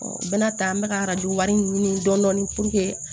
n bɛna taa n bɛ ka arajo wari ɲini dɔɔni